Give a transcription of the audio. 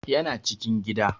Yana cikin gida